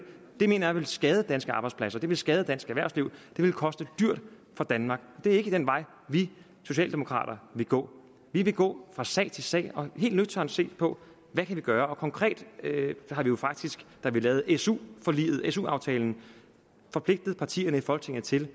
det mener jeg vil skade danske arbejdspladser det vil skade dansk erhvervsliv det vil koste dyrt for danmark og det er ikke den vej vi socialdemokrater vil gå vi vil gå fra sag til sag og helt nøgternt se på hvad vi kan gøre konkret har vi jo faktisk da vi lavede su aftalen forpligtet partierne i folketinget til